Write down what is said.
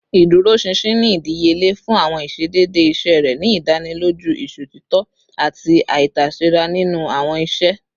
Iduroṣinṣin ni idiyele fun awọn iṣedede iṣe rẹ, ni idaniloju iṣotitọ ati aitasera ninu awọn iṣe